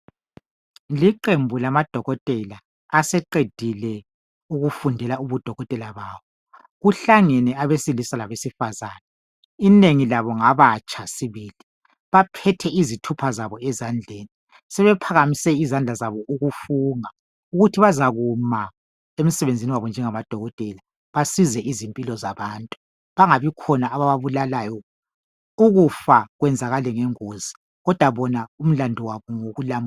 Iqembu lama dokotela aseqedile ukufundela ubudokotela babo kuhlangene abesilisa labesifazana inengi labo ngabatsha sibili baphethe izithupha zabo ezandleni sebephakamise izandla zabo ukufunga ukuthi bazakuma emsebenzini wabo njengama dokotela basize izimpilo zabantu bengabikhona abababulalayo ukufa kwenzakale ngengozi kodwa bona umlandu wabo ngowokulamula.